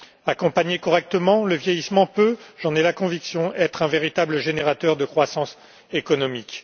Accompagner correctement le vieillissement peut j'en ai la conviction être un véritable générateur de croissance économique.